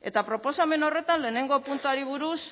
eta proposamen horretan lehenengo puntuari buruz